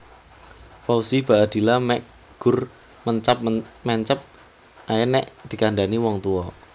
Fauzi Baadila mek gur mencap mencep ae nek dikandhani wong tuwa